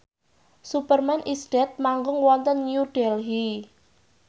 Superman is Dead manggung wonten New Delhi